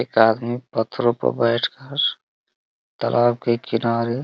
एक आदमी पत्थरो में बैठ कर तालाब के किनारे --